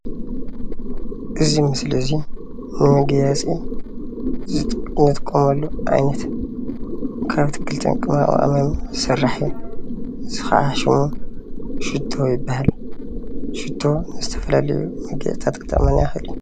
እዚ ምስሊ እዙይ ንመጋየፂ እንጥቀመሉ ዓይነት ካብ ኣትክልትን ቅመማቅመምን ዝስራሕ እዩ ።እዙይ ከዓ ሽሙ ሽቶ ይበሃል። ሽቶ ንዝተፈላለዩ መጋየፅታት ኽጠቅመና ይኽእል እዩ።